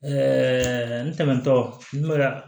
Ɛɛ ntɛnɛntɔ n bɛ ka